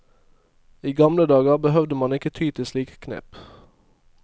I gamle dager behøvde man ikke ty til slike knep.